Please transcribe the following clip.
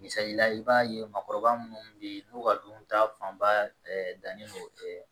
Misali la i b'a ye maakɔrɔba munnu bɛ ye n'u ka dunta fanba dannen don